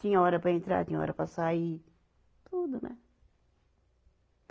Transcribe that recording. Tinha hora para entrar, tinha hora para sair, tudo, né?